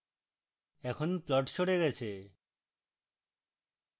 এখন plot সরে গেছে